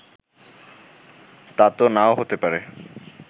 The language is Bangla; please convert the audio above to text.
তা তো না-ও হতে পারে